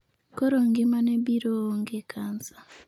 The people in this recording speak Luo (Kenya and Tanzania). Koro ngimane br oonge kansa.